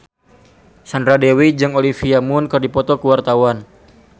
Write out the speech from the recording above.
Sandra Dewi jeung Olivia Munn keur dipoto ku wartawan